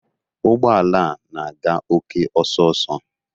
Ụgbọ ala a na-aga oke ọsọ ọsọ